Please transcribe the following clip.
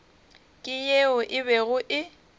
ke yeo e bego e